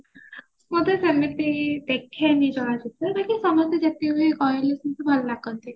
ମୁଁ ତ ସେମିତି ଦେଖେନି ଚଳଚିତ୍ର ବାକି ସମସ୍ତେ ଯେତିକ ବି କହିଲେ ସମସ୍ତେ ବି ଭଲ ଲାଗନ୍ତି